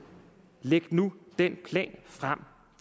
læg nu den plan